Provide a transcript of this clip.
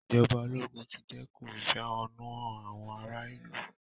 Ì̀jọba ológun ti dẹ́kun ìfẹ̀hùnnúhán àwọn ara ìlú.